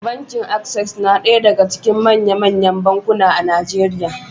Bankin Access na ɗaya daga cikin manya-manyan bankuna a Najeriya.